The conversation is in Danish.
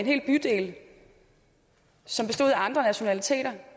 hel bydel som bestod af andre nationaliteter